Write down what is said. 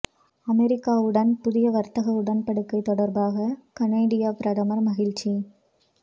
அமெரிக்காவுடன் புதிய வர்த்தக உடன்படிக்கை தொடர்பாக கனேடிய பிரதமர் மகிழ்ச்சி